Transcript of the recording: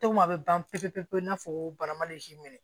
a bɛ ban pewu pewu i n'a fɔ baramazi minɛ